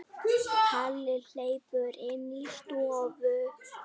Palli hleypur inn í stofu.